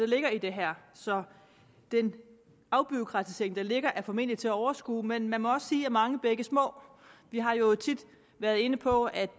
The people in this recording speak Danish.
ligger i det her så den afbureaukratisering der ligger er formentlig til at overskue men man må også sige mange bække små vi har jo tit været inde på at